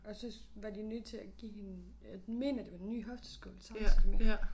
Og så var de nødt til at give hende mener det var ny hofteskål samtidig med